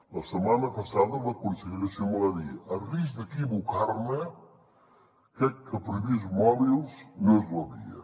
la setmana passada la consellera simó va dir a risc d’equivocar me crec que prohibir els mòbils no és la via